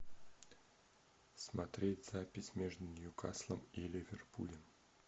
смотреть запись между ньюкаслом и ливерпулем